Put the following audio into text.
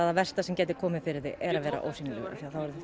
það versta sem getur komið fyrir þig er að vera ósýnilegur